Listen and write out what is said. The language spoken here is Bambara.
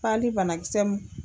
Pali banakisɛ mun